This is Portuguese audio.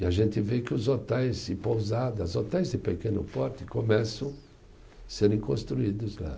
E a gente vê que os hotéis e pousadas, hotéis de pequeno porte, começam a serem construídos lá.